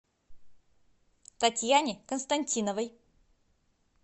татьяне константиновой